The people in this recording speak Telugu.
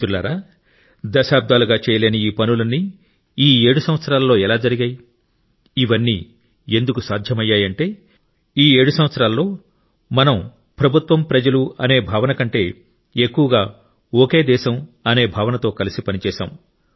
మిత్రులారా దశాబ్దాలుగా చేయలేని ఈ పనులన్నీ ఈ 7 సంవత్సరాలలో ఎలా జరిగాయి ఇవన్నీ ఎందుకు సాధ్యమయ్యాయంటే ఈ 7 సంవత్సరాలలో మనం ప్రభుత్వం ప్రజలు అనే భావనకంటే ఎక్కువగా ఒకే దేశం అనే భావనతో కలిసి పనిచేశాం